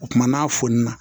O kumana n'a fonana